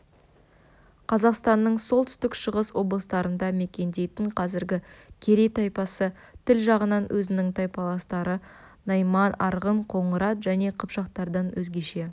қазақстанның солтүстік-шығыс облыстарында мекендейтін қазіргі керей тайпасы тіл жағынан өзінің тайпаластары найман арғын қоңырат және қыпшақтардан өзгеше